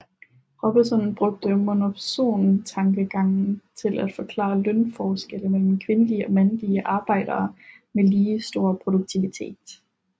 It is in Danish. Robinson brugte monopsontankegangen til at forklare lønforskelle mellem kvindelige og mandlige arbejdere med lige stor produktivitet